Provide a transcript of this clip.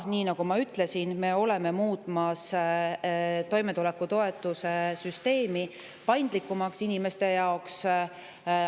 Nii nagu ma ütlesin, me oleme muutmas toimetulekutoetuse süsteemi paindlikumaks inimeste jaoks.